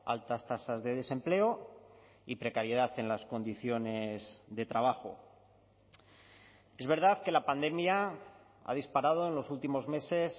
altas tasas de desempleo y precariedad en las condiciones de trabajo es verdad que la pandemia ha disparado en los últimos meses